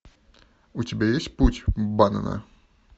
у тебя есть путь баннена